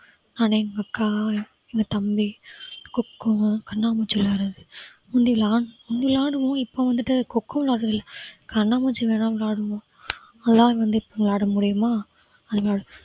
நான் எங்க அக்கா எங்க தம்பி coco கண்ணாமூச்சி விளையாடுவது முந்தி~ முந்தி விளையாடுவோம் இப்ப வந்துட்டு coco விளையாடுறது இல்ல கண்ணாமூச்சி வேணும்னா விளையாடுவோம் அதலாம் வந்து இப்ப விளையாட முடியுமா? அதனால